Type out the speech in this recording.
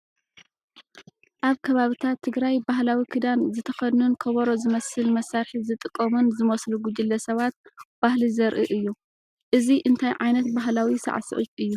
ኣብ ከባብታት ትግራይ ባህላዊ ክዳን ዝተኸድኑን ከበሮ ዝመስል መሳርሒ ዝጥቀሙን ዝመስሉ ጉጅለ ሰባት/ባህሊ ዘርኢ እዩ። እዚ እንታይ ዓይነት ባህላዊ ሳዕስዒት እዩ?